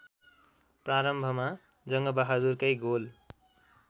प्रारम्भमा जङ्गबहादुरकै गोल